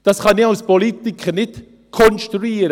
Das kann ich als Politiker nicht konstruieren.